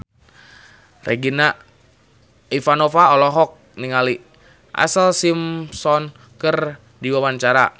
Regina Ivanova olohok ningali Ashlee Simpson keur diwawancara